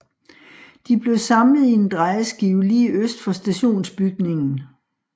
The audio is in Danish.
De blev samlet i en drejeskive lige øst for stationsbygningen